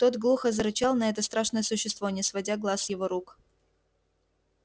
тот глухо зарычал на это страшное существо не сводя глаз с его рук